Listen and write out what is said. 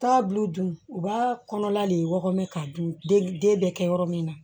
Taa buw dun u b'a kɔnɔla de wɔɔ k'a dun den bɛ kɛ yɔrɔ min na